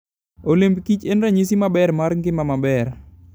Olemb kich en ranyisi maber mar ngima maber.